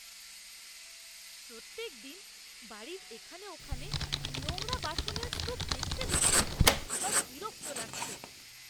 প্রত্যেক দিন বাড়ির এখানে ওখানে নোংরা বাসনের স্তূপ দেখতে দেখতে আমার বিরক্ত লাগছে।